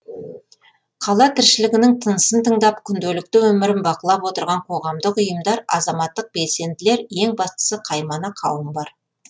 қала тіршілігінің тынысын тыңдап күнделікті өмірін бақылап отырған қоғамдық ұйымдар азаматтық белсенділер ең бастысы қаймана қауым бар